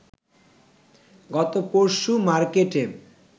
গত পরশু মার্কেটে